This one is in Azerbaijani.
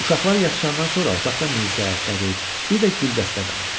Uşaqlar yatışandan sonra otaqda Mirzə, Qədir, bir də Güldəstə qaldı.